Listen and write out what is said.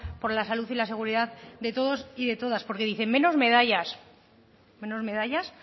por la salud y la seguridad de todos y de todas porque dicen menos medallas menos medallas